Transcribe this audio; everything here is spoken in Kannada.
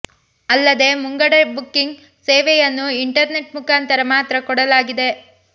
ಅಲ್ಲದೆ ಮುಂಗಡ ಬುಕ್ಕಿಂಗ್ ಸೇವೆಯನ್ನು ಇಂಟರ್ ನೆಟ್ ಮುಖಾಂತರ ಮಾತ್ರ ಕೊಡಲಾಗಿದೆ